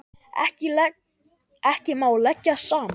Ekki má leggja saman.